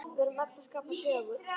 Við erum öll að skapa sögu.